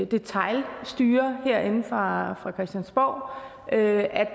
detailstyre herinde fra christiansborg at